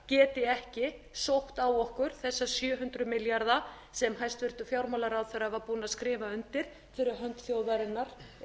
geti ekki sótt á okkur þessa sjö hundruð milljarða sem hæstvirtur fjármálaráðherra var búinn að skrifa undir fyrir hönd þjóðarinnar